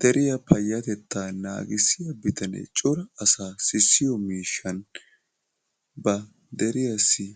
Deriya payyatettaa naagissiya bitanee cora asaa sissiyo mishshan ba deriyassi